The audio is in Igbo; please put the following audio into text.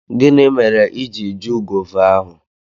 Gini mere i ji ju gova ahu?